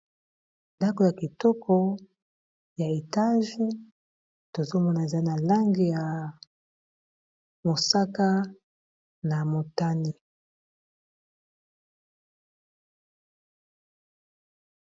Ndako ya kitoko ya etage tozomonaza na lange ya mosaka na motani.